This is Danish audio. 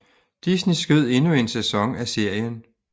Disney skød endnu en sæson af serien